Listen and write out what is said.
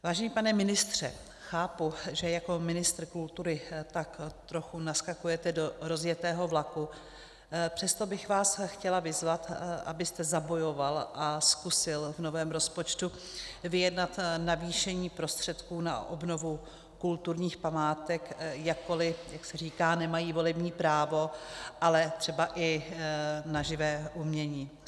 Vážený pane ministře, chápu, že jako ministr kultury tak trochu naskakujete do rozjetého vlaku, přesto bych vás chtěla vyzvat, abyste zabojoval a zkusil v novém rozpočtu vyjednat navýšení prostředků na obnovu kulturních památek, jakkoliv, jak se říká, nemají volební právo, ale třeba i na živé umění.